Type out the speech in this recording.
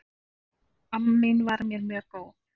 Amma mín var mér mjög góð.